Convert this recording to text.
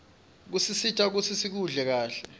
kusisita kutsi sikuhle kahle